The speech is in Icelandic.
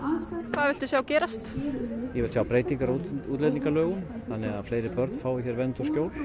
hvað viltu sjá gerast ég vil sjá breytingar á útlendingalögum þannig að fleiri börn fá hér vernd og skjól